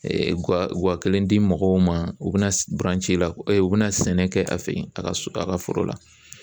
wa kelen di mɔgɔw ma u bɛna ci la u bɛna sɛnɛ kɛ a fɛ yen a ka su a ka foro la